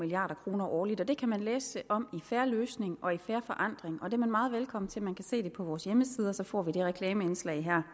milliard kroner årligt det kan man læse om i en fair løsning og fair forandring og det er man meget velkommen til man kan se det på vores hjemmeside og så får vi det reklameindslag her